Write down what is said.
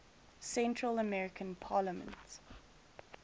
central american parliament